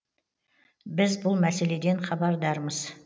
біз бұл мәселеден хабардармыз